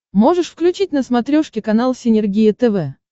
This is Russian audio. можешь включить на смотрешке канал синергия тв